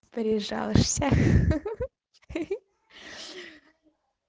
стрижёшься ахаха